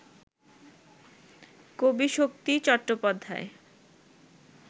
কবি শক্তি চট্টোপাধ্যায়